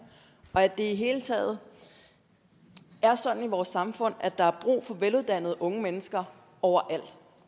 og at det i det hele taget er sådan i vores samfund at der er brug for veluddannede unge mennesker overalt